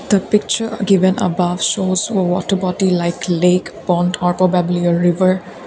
the picture given apart so so watter bottle like lake fountain auto feblier river.